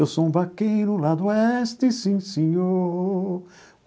Eu sou um vaqueiro lá do oeste, sim, senhor.